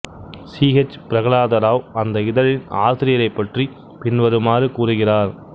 C H Prahlada Rao அந்த இதழின் ஆசிரியரைப் பற்றி பின்வருமாறு கூறுகிறார்